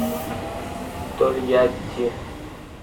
тольятти